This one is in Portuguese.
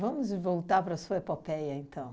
Vamos voltar para a sua epopeia, então.